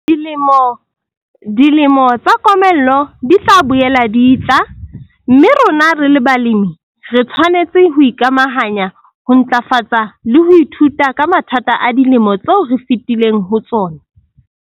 Dilemo tsa komello di tla boela di etla, mme rona re le balemi re tshwanetse ho ikamahanya, ho ntlafatsa le ho ithuta ka mathata a dilemo tseo re fetileng ho tsona.